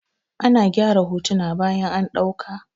A na gyara hotuna bayan an ɗauka.